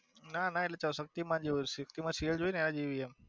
ના ના એટલે શક્તિમાન જેવું શક્તિ માં સીરીયલ જોઈ એના જેવી એમ.